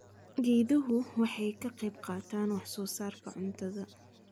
Geeduhu waxay ka qayb qaataan wax soo saarka cuntada.